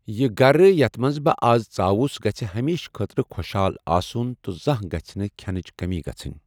یہٕ گرٕ یتھ منٛز بہٕ آزٕ ژاوُس گٔژھہِ ہمیشہِ خٲطرٕ خۄشحال آسُن تہٕ زانٛہہ گژھہِ نہٕ کھینٕچ کٔمی گژھنۍ۔